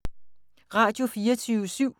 Radio24syv